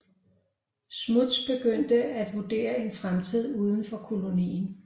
Smuts begyndte at vurdere en fremtid udenfor kolonien